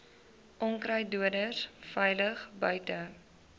onkruiddoders veilig buite